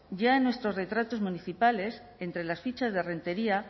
ya en nuestros retratos municipales entre las fichas de rentería